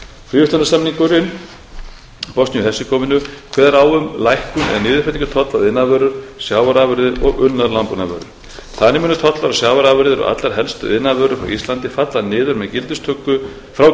fríverslunarsamningurinn við bosníu og hersegóvínu kveður á um lækkun eða niðurfellingu tolla á iðnaðarvörur sjávarafurðir og unnar landbúnaðarvörur þannig munu tollar á sjávarafurðir og allar helstu iðnaðarvörur frá íslandi falla niður við